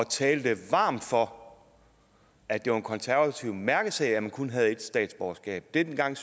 talte varmt for at det var en konservativ mærkesag at man kun havde ét statsborgerskab dengang